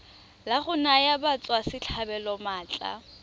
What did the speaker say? la go naya batswasetlhabelo maatla